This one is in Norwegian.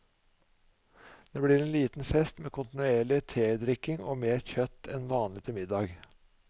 Det blir en liten fest med kontinuerlig tedrikking og mer kjøtt enn vanlig til middag.